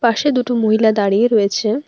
পাশে দুটো মহিলা দাঁড়িয়ে রয়েছে।